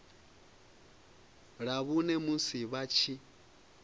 ḽa vhuṋe musi vha tshi